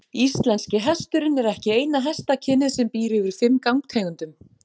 Íslenski hesturinn er ekki eina hestakynið sem býr yfir fimm gangtegundum.